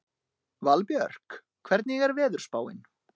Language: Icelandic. Valbjörk, hvernig er veðurspáin?